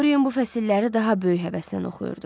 Dorian bu fəsilləri daha böyük həvəslə oxuyurdu.